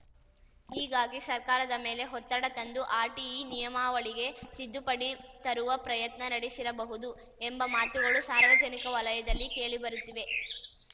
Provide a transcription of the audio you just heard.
ಹೀಗಾಗಿ ಸರ್ಕಾರದ ಮೇಲೆ ಒತ್ತಡ ತಂದು ಆರ್‌ಟಿಇ ನಿಯಮಾವಳಿಗೆ ತಿದ್ದುಪಡಿ ತರುವ ಪ್ರಯತ್ನ ನಡೆಸಿರಬಹುದು ಎಂಬ ಮಾತುಗಳು ಸಾರ್ವಜನಿಕ ವಲಯದಲ್ಲಿ ಕೇಳಿಬರುತ್ತಿವೆ